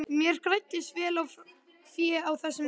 Mér græddist vel fé á þessum árum.